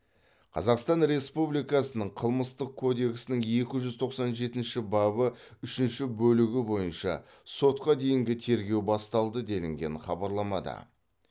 қазақстан республикасының қылмыстық кодексінің екі жүз тоқсан жетінші бабы үшінші бөлігі бойынша сотқа дейінгі тергеу басталды делінген хабарламада